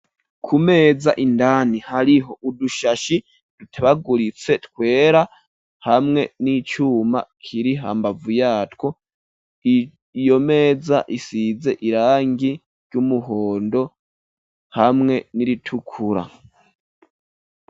Ku meza indani, hariho udushashi ,dutebaguritse twera, hamwe n'icuma kirihambavu yatwo, iyo meza isize irangi ry'umuhondo, hamwe n'iritukura.